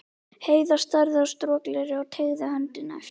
Heiða starði á strokleðrið og teygði höndina eftir því.